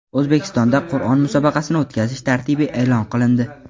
O‘zbekistonda Qur’on musobaqasini o‘tkazish tartibi e’lon qilindi.